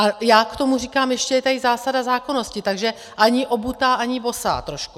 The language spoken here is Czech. A já k tomu říkám, ještě je tady zásada zákonnosti, takže ani obutá, ani bosá trošku.